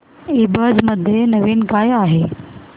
ईबझ मध्ये नवीन काय आहे